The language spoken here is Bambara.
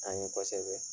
An ye kosɛbɛ